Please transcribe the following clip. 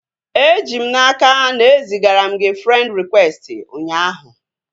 E ji m n'aka na e zigara m gị frend rịkwesti ụnyaahụ